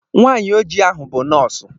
Nwanyị oji ahu bụ nọọsụ